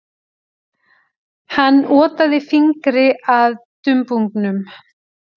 Hann otaði fingri að dumbungnum.